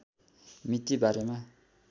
मिति बारेमा